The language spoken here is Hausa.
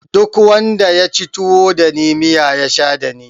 Duk wanda yaci tuwo dani miya ya sha dani